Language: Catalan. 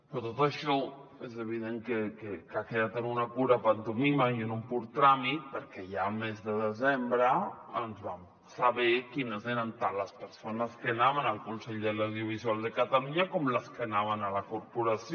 però tot això és evident que ha quedat en una pura pantomima i en un pur tràmit perquè ja al mes de desembre vam saber quines eren tant les persones que anaven al consell de l’audiovisual de catalunya com les que anaven a la corporació